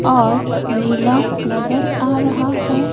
और नीला नजर आ रहा है।